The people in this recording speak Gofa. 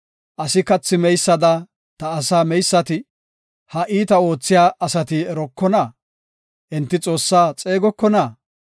Asi kathi meysada ta asaa meysati, ha iita oothiya asati erokona? enti Xoossaa xeegokona?